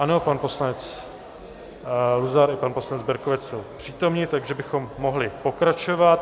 Ano, pan poslanec Luzar i pan poslanec Berkovec jsou přítomni, takže bychom mohli pokračovat.